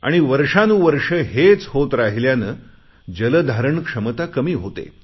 आणि वर्षांनुवर्ष हेच होत राहिल्याने जलधारण क्षमता कमी होते